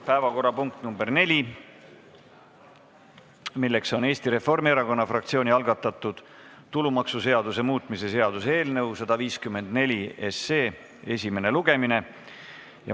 Päevakorrapunkt nr 4, Eesti Reformierakonna fraktsiooni algatatud tulumaksuseaduse muutmise seaduse eelnõu 154 esimene lugemine.